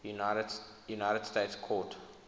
united states court